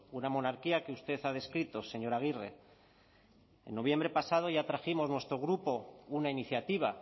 una monarquía que usted ha descrito señora aguirre en noviembre pasado ya trajimos nuestro grupo una iniciativa